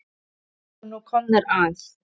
Þeir voru nú komnir að